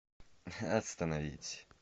остановить